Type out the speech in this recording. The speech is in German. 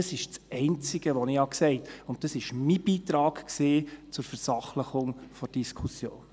Das ist das Einzige, was ich gesagt habe, und das war Beitrag war zur Versachlichung der Diskussion.